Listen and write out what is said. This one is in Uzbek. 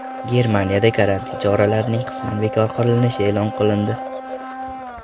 Germaniyada karantin choralarining qisman bekor qilinishi e’lon qilindi .